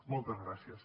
moltes gràcies